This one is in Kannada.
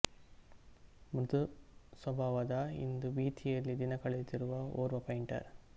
ಮೃದು ಸ್ವಭಾವದ ಇಂದು ಭೀತಿಯಲ್ಲಿ ದಿನ ಕಳೆಯುತ್ತಿರುವ ಓರ್ವ ಪೈಂಟರ್